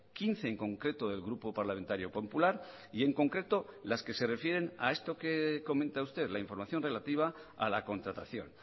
quince en concreto del grupo parlamentario popular y en concreto las que se refieren a esto que comenta usted la información relativa a la contratación